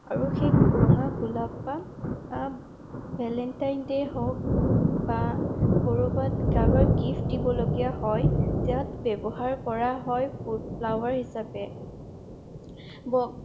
আৰু সেই ৰঙা গোলাপ পাহ আহ ভেলেন্টাই দে হওঁক বা ক'ৰবাত কাৰোবাক গিফ্ট দিব লগীয়া হয় তাত ব্যৱহাৰ কৰা হয় Flower হিচাপে